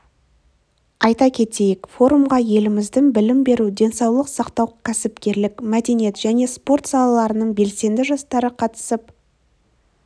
айта кетейік форумға еліміздің білім беру денсаулық сақтау кәсіпкерлік мәдениет және спорт салаларының белсенді жастары қатысып